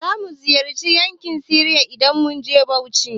Zamu ziyarci yankari game reserve idan mun je Bauchi.